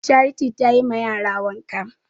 Charity tayi ma yara wanka